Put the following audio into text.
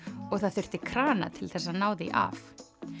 og það þurfti krana til þess að ná því af